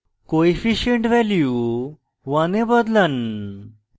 coefficient value 1 এ বদলান